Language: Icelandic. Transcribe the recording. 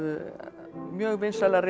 mjög vinsælar